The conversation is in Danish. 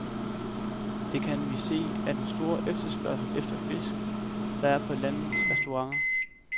Det kan vi se af den store efterspørgsel efter fisk, der er på landets restauranter.